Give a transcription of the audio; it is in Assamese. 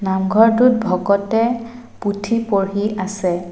নামঘৰটোত ভকতে পুথি পঢ়ি আছে।